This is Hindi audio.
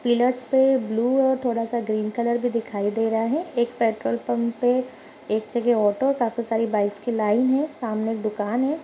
पिल्लर्स पे ब्लू है और थोड़ा सा ग्रीन कलर भी दिखाई दे रहा है एक पेट्रोल पंप पे एक जगह काफी सारी बाइक्स की लाइन है सामने दुकान है।